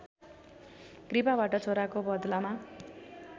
कृपाबाट छोराको बदलामा